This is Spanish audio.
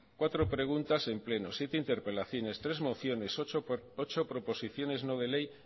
cuatro preguntas en pleno siete interpelaciones tres mociones ocho proposiciones no de ley